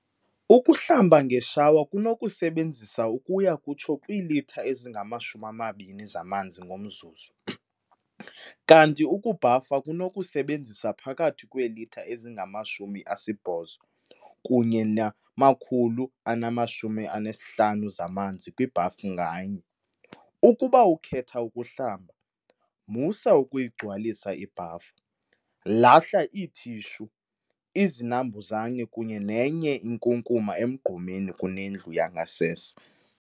Ukuhlamba ngeshawa kunokusebenzisa ukuya kutsho kwiilitha ezingama-20 zamanzi ngomzuzu, kanti ukubhafa kunokusebenzisa phakathi kweelitha ezingama-80 kunye ne-150 zamanzi kwibhafu nganye. Ukuba ukhetha ukuhlamba, musa ukuyigcwalisa ibhafu. Lahla iithishu, izinambuzane kunye nenye inkunkuma emgqomeni kunendlu yangasese.